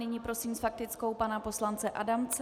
Nyní prosím s faktickou pana poslance Adamce.